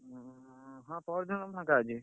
ଉଁ ହଁ ପହରଦିନ ମୁଁ ଫାଙ୍କା ଅଛି।